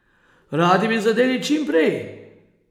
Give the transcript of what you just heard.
Radi bi zadeli čim prej.